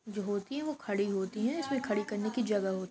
जो होती हैं वो खड़ी होती हैं इसमें खड़ी करने की जगह होती --